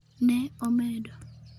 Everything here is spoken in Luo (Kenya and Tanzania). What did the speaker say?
"Ne omedo